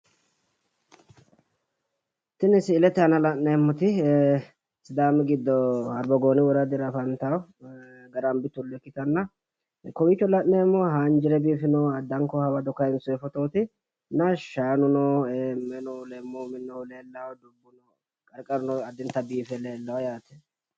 Tini si’ilete aana la’neemmoti sidaami giddo harbagooni woradira afantanno garambi tullo ikkitanna, kowiicho la’neemmohu haanjire biifinoha addanko hawado kaayinsoyi fotooti. Shaanuno minuno leemmuyi minoyihu leelawo qarqaruno addinta biife leellawo yaate